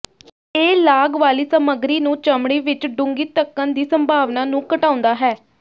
ਇਹ ਲਾਗ ਵਾਲੀ ਸਾਮੱਗਰੀ ਨੂੰ ਚਮੜੀ ਵਿੱਚ ਡੂੰਘੀ ਧੱਕਣ ਦੀ ਸੰਭਾਵਨਾ ਨੂੰ ਘਟਾਉਂਦਾ ਹੈ